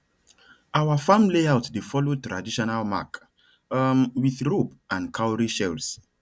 our farm layout dey follow traditional mark um with rope and cowrie shells